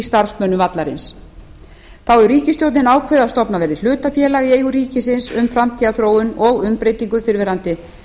starfsmönnum vallarins þá hefur ríkisstjórnin ákveðið að stofnað verði hlutafélag í eigu ríkisins um framtíðarþróun og umbreytingu fyrrverandi